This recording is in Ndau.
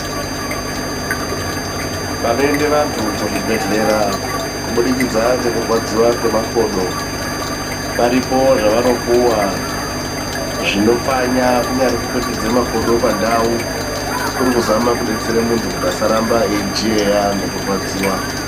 Panoende vantu kuzvibhedhleya kubudikidza ngerwara ngemakodo paripo zvavanopuwa zvinopfanya. Kunyari kupetudza makodo pandau kuri kuzama kudetsera muntu kuti asaramba aijiyeya ngekurwadziwa .